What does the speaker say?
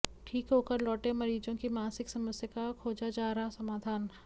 ठीक होकर लौटे मरीजों की मानसिक समस्या का खोजा जा रहा समाधान